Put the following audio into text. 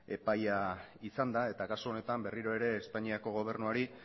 epaia izanda eta kasu honetan berriro ere espainiako gobernuari